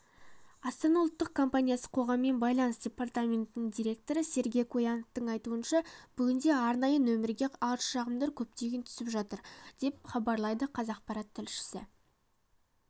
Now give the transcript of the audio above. астана ұлттық компаниясы қоғаммен байланыс департаментінің директоры сергей куяновтың айтуынша бүгінде арнайы нөмірге арыз-шағымдар көптеп түсіп жатыр деп іабарлайды қазақпарат тілшісі